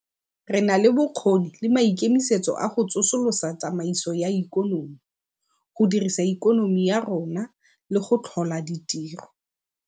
Re na le bokgoni le maikemisetso a go tsosolosa tsamaiso ya ikonomi, go godisa ikonomi ya rona le go tlhola ditiro.